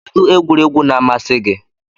Kedu egwuregwu na amasi gi?